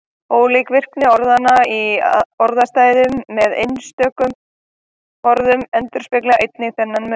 Ólík virkni orðanna í orðastæðum með einstökum orðum endurspeglar einnig þennan mun.